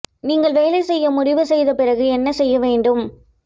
நீங்கள் வேலை செய்ய முடிவு செய்த பிறகு என்ன செய்ய வேண்டும்